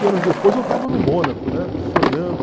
anos depois eu estava no Mônaco, né, sonhando.